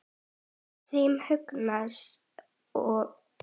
Þeim Magnúsi og